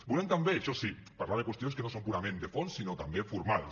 volem també això sí parlar de qüestions que no són purament de fons sinó també formals